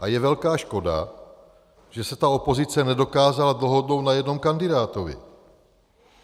A je velká škoda, že se ta opozice nedokázala dohodnout na jednom kandidátovi.